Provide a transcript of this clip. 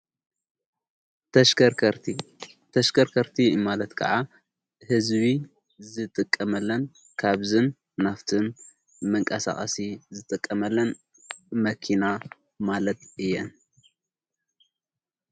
ተሽከርከርቲ ማለት ከዓ ሕዝቢ ዝተቀመለን ካብዝን ናፍትን መንቃሣቕሲ ዝተቀመለን መኪና ማለት እየን።